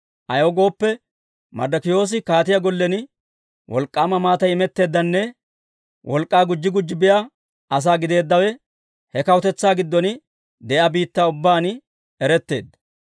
Ayaw gooppe, Marddokiyoosi kaatiyaa gollen wolk'k'aama maatay imetteeddanne wolk'k'aa gujji gujji biyaa asaa gideeddawe, he kawutetsaa giddon de'iyaa biittaa ubbaan eretteedda.